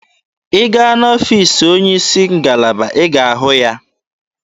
Ị gaa n'ọfiisi onye isi ngalaba, ị ga-ahụ ya.